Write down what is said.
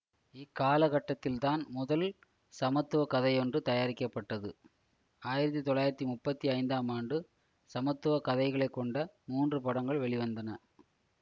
இக்காலக்கட்டத்தில்தான் முதல் சமத்துவ கதையொன்று தயாரிக்கப்பட்டது ஆயிரத்தி தொள்ளாயிரத்தி முப்பத்தி ஐந்தாம் ஆண்டு சமத்துவ கதைகளை கொண்ட மூன்று படங்கள் வெளிவந்தன